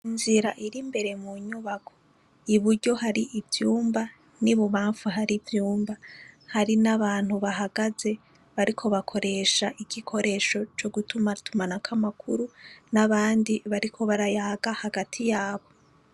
Inzira iri imbere mu nyubako, iburyo hari ivyumba n'ibubamfu hari ivyumba, hari n'abantu bahagaze bariko bakoresha igikoresho co gutumatumanako amakuru n'abandi bariko barayaga hagati yabo.